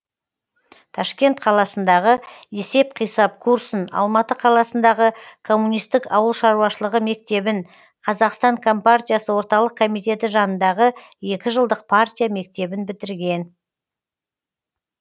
ташкент қаласындағы есеп қисап курсын алматы қаласындағы коммунистік ауыл шаруашылығы мектебін қазақстан компартиясы орталық комитеті жанындағы екі жылдық партия мектебін бітірген